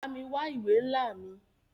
Bámi wa ìwé nla mí.